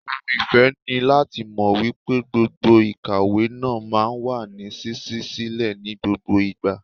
Ohun ìfẹ́ ni láti mọ wípé gbọ̀ngàn ìkàwé náà máa ń wà ní ṣíṣí sílẹ̀ ní gbogbo ìgbà.